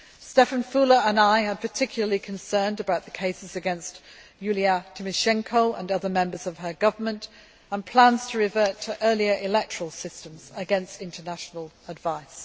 Štefan Füle and I are particularly concerned about the cases against Yulia Tymoshenko and other members of her government and plans to revert to earlier electoral systems against international advice.